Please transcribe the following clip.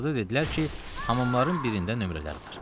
Axırda dedilər ki, hamamların birində nömrələri var.